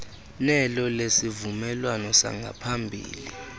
nelo lesivumelwano sangaphambili